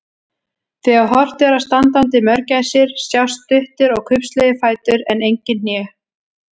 Þegar horft er á standandi mörgæsir sjást stuttir og kubbslegir fætur en engin hné.